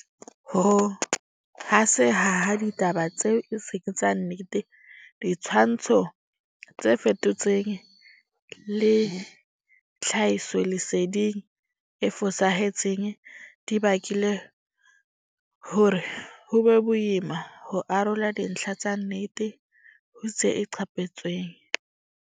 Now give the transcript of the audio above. Ho haseha ha ditaba tseo e seng tsa nnete, ditshwantsho tse fetotsweng le tlhahisoleseding e fosahetseng di bakile hore ho be boima ho arola dintlha tsa nnete ho tse iqapetsweng.